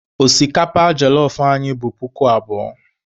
Osikapa jelọf anyị bụ puku abụọ.